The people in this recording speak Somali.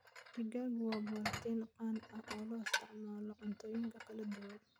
Digaaggu waa borotiin qani ah oo loo isticmaalo cuntooyinka kala duwan.